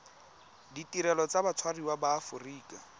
ditirelo tsa batshwariwa ba aforika